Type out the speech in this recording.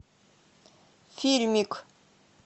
фильмик